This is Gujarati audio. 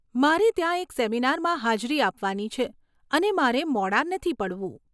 મારે ત્યાં એક સેમિનારમાં હાજરી આપવાની છે અને મારે મોડાં નથી પડવું.